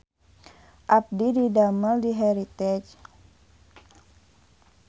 Abdi didamel di Heritage